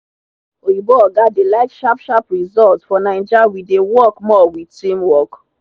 oyinbo oga dey like sharp sharp results for naija we dey work more with teamwork